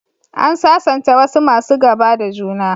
An sasanta wasu masu gaba da juna.